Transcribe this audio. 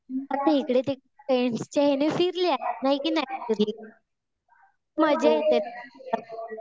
आता इकडे ते फ्रेंडच्या याने फिरले. बाकी नाही फिरले. मजा येते ना.